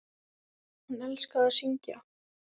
Hún elskaði að syngja.